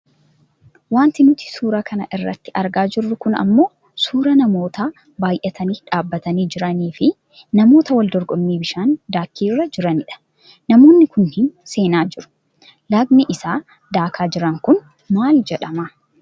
Wanti nuti suura kana irratti argaa jirru kun ammoo suuraa namoota baayyatanii dhaabbatanii jiranii fi namoota wal dorgommii bishaan daakiirra jiranidha. Namoonni kunneen seenaa jiru. Lagni isaa daakaa jiran kun maal jedhama?